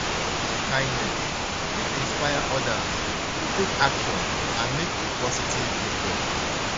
small acts of kindness fit inspire odas to take action and make a positive difference.